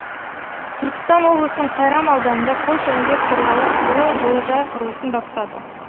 түркістан облысының сайрам ауданында польша инвесторлары жылыжай құрылысын бастады